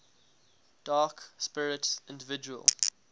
dark spirits individual